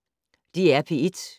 DR P1